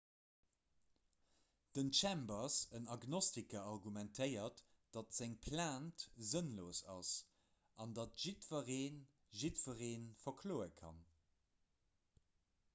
den chambers en agnostiker argumentéiert datt seng plainte sënnlos ass an datt"jiddweree jiddweree verkloe kann.